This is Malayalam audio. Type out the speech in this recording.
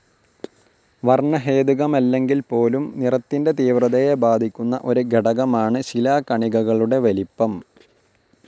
വർണഹേതുകമല്ലെങ്കിൽപോലും നിറത്തിന്റെ തീവ്രതയെ ബാധിക്കുന്ന ഒരു ഘടകമാണ് ശിലാകണികകളുടെ വലിപ്പം.